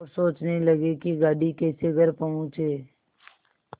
और सोचने लगे कि गाड़ी कैसे घर पहुँचे